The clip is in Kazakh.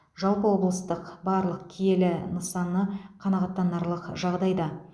жалпы облыстың барлық киелі нысаны қанағаттанарлық жағдайда